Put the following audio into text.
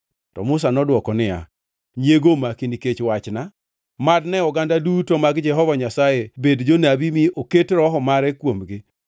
To Musa nodwoko niya, “Nyiego omaki nikech wachna? Mad ne oganda duto mag Jehova Nyasaye bed jonabi mi oket Roho mare kuomgi!”